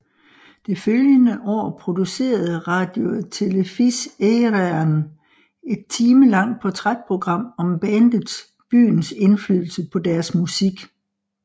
Det følgende år producerede Radio Telefís Éireann et timelangt portrætprogram om bandet byens indflydelse på deres musik